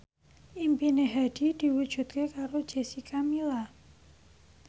impine Hadi diwujudke karo Jessica Milla